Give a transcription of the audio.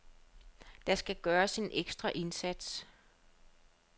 Der skal gøres en ekstra indsats.